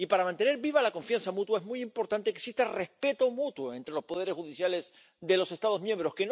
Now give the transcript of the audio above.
Y para mantener viva la confianza mutua es muy importante que exista respeto mutuo entre los poderes judiciales de los Estados miembros.